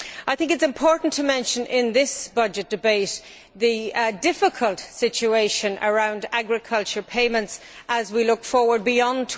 It is important to mention in this budget debate the difficult situation around agriculture payments as we look beyond